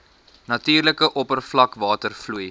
natuurlike oppervlakwater vloei